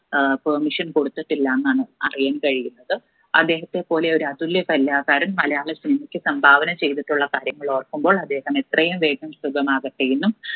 ഏർ permission കൊടുത്തിട്ടില്ല എന്നാണ് അറിയാൻ കഴിയുന്നത് അദ്ദേഹത്തെ പോലെ ഒരു അതുല്യ കലാകാരൻ മലയാള cinema ക്ക് സംഭാവന ചെയ്തിട്ടുള്ള കാര്യങ്ങൾ ഓർക്കുമ്പോൾ അദ്ദേഹം എത്രയും വേഗം സുഗമാകട്ടെ എന്നും